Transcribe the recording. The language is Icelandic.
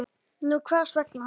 Nú hvers vegna ekki?